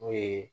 N'o ye